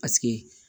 Paseke